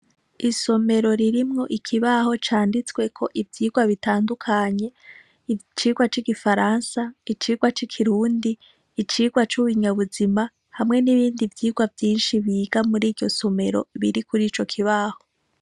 Isomero ririmwo ikibaho canditsweko ivyigwa bitandukanye: icigwa c’igifaransa, icigwa c’ikirundi, icigwa c’ibinyabuzima hamwe nibindi vyigwa vyinshi biga muriyo somero biri kurico kibaho.